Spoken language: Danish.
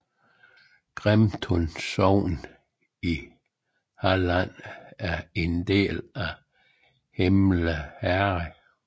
Grimeton sogn i Halland var en del af Himle herred